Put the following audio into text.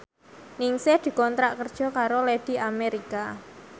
Ningsih dikontrak kerja karo Lady America